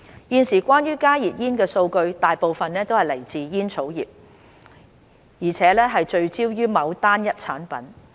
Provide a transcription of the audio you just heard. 現時關於加熱煙的數據大部分來自煙草業，而且聚焦於某單一產品。